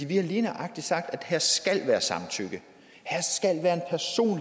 vi har lige nøjagtig sagt at her skal være samtykke